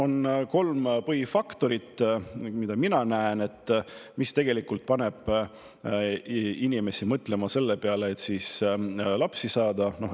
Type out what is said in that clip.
On kolm põhifaktorit, mida mina näen, mis tegelikult panevad inimesi mõtlema selle peale, et lapsi saada.